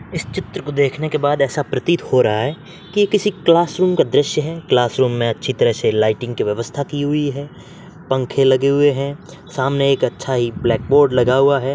इस चित्र को देखने के बाद वेसा प्रतीत हो रहा है की ये किसी क्लासरूम का दृश्य है। क्लासरूम में अच्छी तरह से लाइटिंग की वयवस्था की हुई है पंखे लगे हुए हैं सामने एक अच्छा इ ब्लाकबोर्ड लगा हुआ हैं।